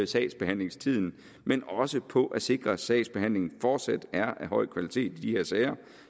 sagsbehandlingstiden men også på at sikre at sagsbehandlingen fortsat er af høj kvalitet i de her sager